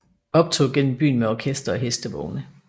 Optog gennem byen med orkester og hestevogne